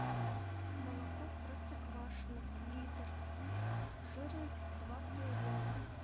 молоко простоквашино литр жирность два с половиной